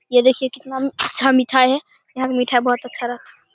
ये देखिये कितना अच्छा मीठाई हैं यहाँ पे मीठा बहोत अच्छा रह--